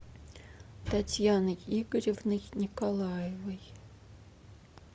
татьяной игоревной николаевой